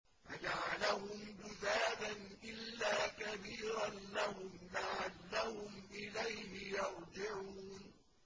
فَجَعَلَهُمْ جُذَاذًا إِلَّا كَبِيرًا لَّهُمْ لَعَلَّهُمْ إِلَيْهِ يَرْجِعُونَ